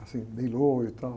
assim, e tal.